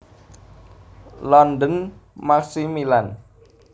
London Macmillan